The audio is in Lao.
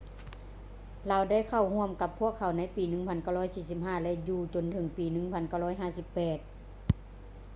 ລາວໄດ້ເຂົ້າຮ່ວມກັບພວກເຂົາໃນປີ 1945 ແລະ ຢູ່ຈົນເຖິງປີ 1958